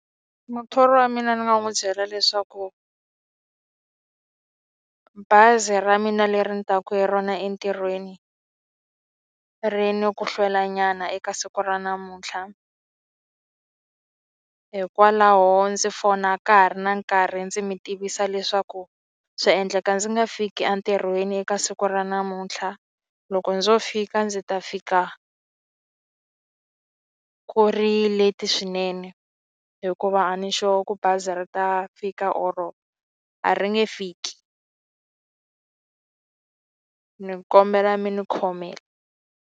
Muthori wa mina ni nga n'wi byela leswaku bazi ra mina leri ni taka hi rona entirhweni, ri ni ku hlwelanyana eka siku ra namuntlha. Hikwalaho ndzi fona ka ha ri na nkarhi ndzi mi tivisa leswaku swa endleka ndzi nga fiki entirhweni eka siku ra namuntlha. Loko ndzo fika ndzi ta fika ku ri leti swinene, hikuva a ni sure ku bazi ra ta fika or a ri nge fiki ni kombela mi ni khomela.